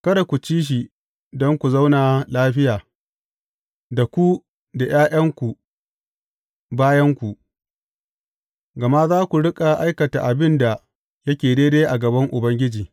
Kada ku ci shi, don ku zauna lafiya, da ku da ’ya’yanku bayanku, gama za ku riƙa aikata abin da yake daidai a gaban Ubangiji.